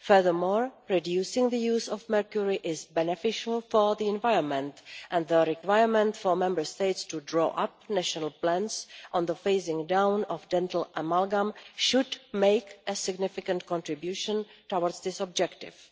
Furthermore, reducing the use of mercury is beneficial for the environment and the requirement for Member States to draw up national plans on the phasing down of dental amalgam should make a significant contribution towards this objective.